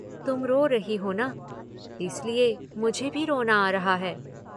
तुम रो रही हो न, इसलिये मुझे भी रोना आ रहा है।